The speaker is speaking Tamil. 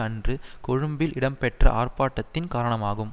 அன்று கொழும்பில் இடம்பெற்ற ஆர்ப்பாட்டத்தின் காரணமாகும்